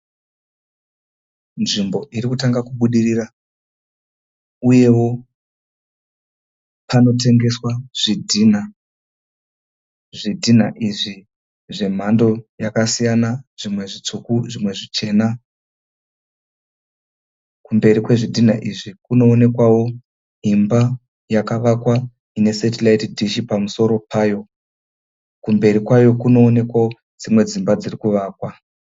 Nzvimbo iri kutanga kubudirira uyewo panotengeswa zvidhinha. Zvidhinha izvi zvemhando yakasiyana. Zvimwe zvitsvuku zvimwe zvichena. Kumberi kwezvidhinha izvi kunoonekwawo imba yakavakwa ine setiraiti dhishi pamusoro payo. Kumberi kwayo kunoonekwawo dzimba dziri kuvakwa.